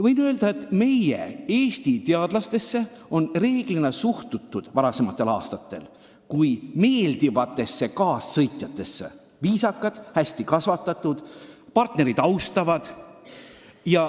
Võin öelda, et Eesti teadlastesse on reeglina varasematel aastatel suhtutud kui meeldivatesse kaassõitjatesse – viisakad, hästi kasvatatud, partnerit austavad.